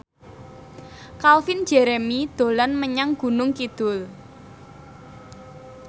Calvin Jeremy dolan menyang Gunung Kidul